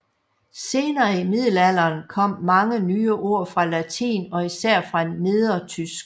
Senere i middelalderen kom mange nye ord til fra latin og især fra nedertysk